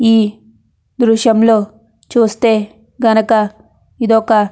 ఈ దృశ్యంలో చుస్తే గనక ఇదొక --